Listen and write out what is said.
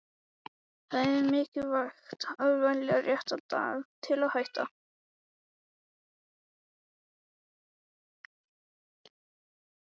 Það er mikilvægt að velja rétta daginn til að hætta.